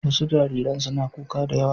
Wasu jariran suna kuka da yawa.